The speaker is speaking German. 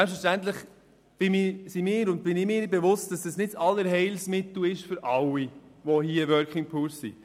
Wir sind uns bewusst, dass die Einführung eines Mindestlohns nicht das Allheilmittel für alle Working Poor bedeuten kann.